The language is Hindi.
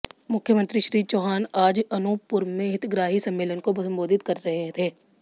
मुख्यमंत्री श्री चौहान आज अनूपपुर में हितग्राही सम्मेलन को संबोधित कर रहे थे